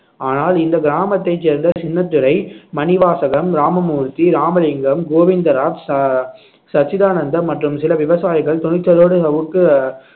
ஆனால் இந்த கிராமத்தைச் சேர்ந்த சின்னத்துரை மணிவாசகம் ராமமூர்த்தி ராமலிங்கம் கோவிந்தராஜ் ச~ சச்சிதானந்தம் மற்றும் சில விவசாயிகள் துணிச்சலோடு சவுக்கு